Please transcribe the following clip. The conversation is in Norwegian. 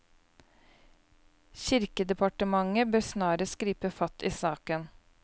Kirkedepartementet bør snarest gripe fatt i saken.